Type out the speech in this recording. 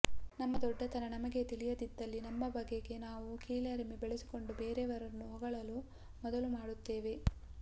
ನಮ್ಮ ದೊಡ್ಡತನ ನಮಗೇ ತಿಳಿಯದಿದ್ದಲ್ಲಿ ನಮ್ಮ ಬಗೆಗೇ ನಾವು ಕೀಳರಿಮೆ ಬೆಳೆಸಿಕೊಂಡು ಬೇರೆಯವರನ್ನು ಹೊಗಳಲು ಮೊದಲು ಮಾಡುತ್ತೇವೆ